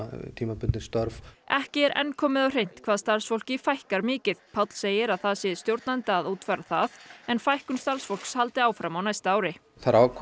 tímabundin störf ekki er enn komið á hreint hvað starfsfólki fækkar mikið Páll segir að það sé stjórnenda að útfæra það en fækkun starfsfólks haldi áfram á næsta ári þær